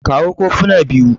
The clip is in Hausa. kawo kofuna biyu